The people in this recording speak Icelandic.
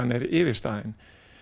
er yfirstaðin